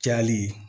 Cayali